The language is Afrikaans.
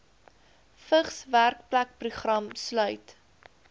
vigs werkplekprogram sluit